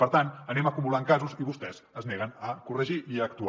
per tant anem acumulant casos i vostès es neguen a corregir i a actuar